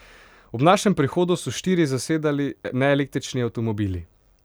Ob našem prihodu so štiri zasedali neelektrični avtomobili.